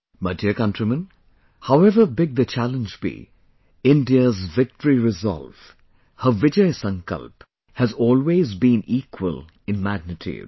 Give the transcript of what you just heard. My dear countrymen, however big the challenge be, India's victoryresolve, her VijaySankalp has always been equal in magnitude